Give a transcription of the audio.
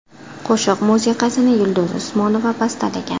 Qo‘shiq musiqasini Yulduz Usmonova bastalagan.